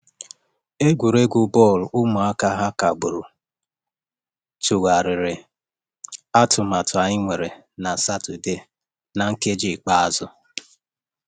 egwuregwu bọl ụmụaka akagburu tụwarịrị atụmatụ anyị nwere na satọde na nkeji ịkpeazụ.